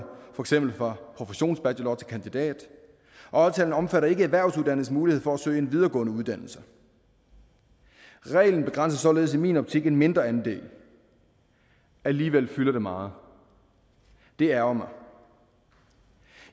for eksempel fra professionsbachelor til kandidat og aftalen omfatter ikke erhvervsuddannedes mulighed for at søge en videregående uddannelse reglen begrænser således i min optik en mindre andel alligevel fylder det meget det ærgrer mig